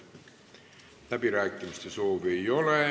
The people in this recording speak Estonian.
Läbirääkimiste soovi ei ole.